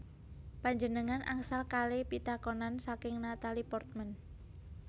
Panjenengan angsal kale pitakonan saking Natalie Portman